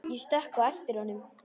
Ég stökk á eftir honum.